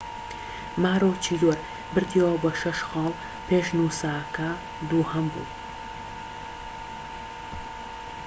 ماروچیدۆر بردیەوە بە شەش خاڵ پێش نووسا کە دووهەم بوو